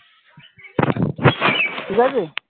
ঠিকাছে?